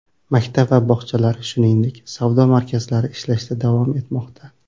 Maktab va bog‘chalar, shuningdek, savdo markazlari ishlashda davom etmoqda.